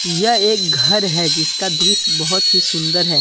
यह एक घर है जिसका दृश्य बहोत ही सुंदर है।